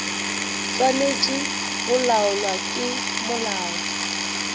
swanetše go laolwa ke molao